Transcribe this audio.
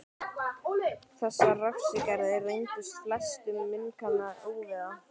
Þessar refsiaðgerðir reyndust flestum munkanna ofviða.